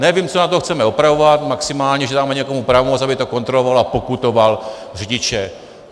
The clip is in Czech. Nevím, co na tom chceme opravovat, maximálně že dáme někomu pravomoc, aby to kontroloval a pokutoval řidiče.